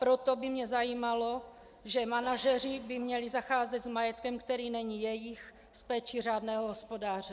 Proto by mě zajímalo, že manažeři by měli zacházet s majetkem, který není jejich, s péčí řádného hospodáře.